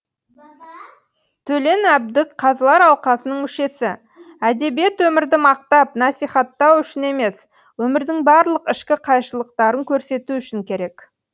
төлен әбдік қазылар алқасының мүшесі әдебиет өмірді мақтап насихаттау үшін емес өмірдің барлық ішкі қайшылықтарын көрсету үшін керек